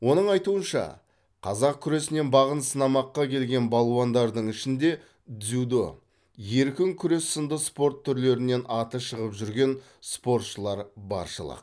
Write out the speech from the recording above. оның айтуынша қазақ күресінен бағын сынамаққа келген балуандардың ішінде дзюдо еркін күрес сынды спорт түрлерінен аты шығып жүрген спортшылар баршылық